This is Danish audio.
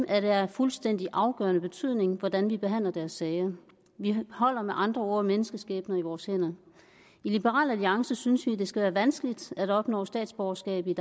er det af fuldstændig afgørende betydning hvordan vi behandler deres sager vi holder med andre ord menneskeskæbner i vores hænder i liberal alliance synes vi det skal være vanskeligt at opnå statsborgerskab i